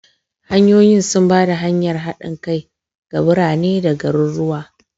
Hanyoyi sun ba da hanyar haɗin kai ga birane da garuruwa.